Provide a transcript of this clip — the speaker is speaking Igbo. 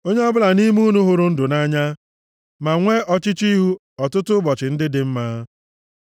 Onye ọbụla nʼime unu hụrụ ndụ nʼanya, ma nwee ọchịchọ ihu ọtụtụ ụbọchị ndị dị mma,